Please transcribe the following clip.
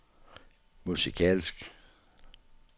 musikalsk